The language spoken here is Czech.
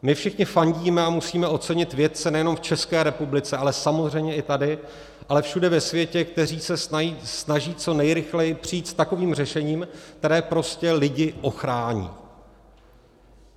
My všichni fandíme a musíme ocenit vědce nejenom v České republice, ale samozřejmě i tady, ale všude ve světě, kteří se snaží co nejrychleji přijít s takovým řešením, které prostě lidi ochrání.